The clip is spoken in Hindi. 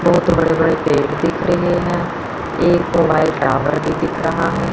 बहोत बड़े बड़े पेड़ दिख रहे है एक मोबाइल टॉवर भी दिख रहा है।